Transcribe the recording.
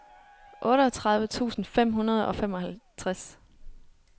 otteogtredive tusind fem hundrede og femoghalvtreds